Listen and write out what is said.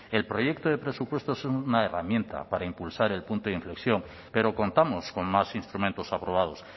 el proyecto de presupuestos es una herramienta para impulsar el punto de inflexión pero contamos con más instrumentos aprobados